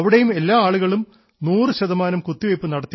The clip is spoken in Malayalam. അവിടെയും എല്ലാ ആളുകളും 100 ശതമാനം കുത്തിവെയ്പ് നടത്തിയെന്ന്